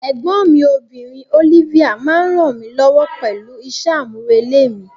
Ẹ̀gbọ́n mi obìnrin, Olivia, máa ń ràn mí lọ́wọ́ pẹ̀lú iṣẹ́ àmúrelé mi.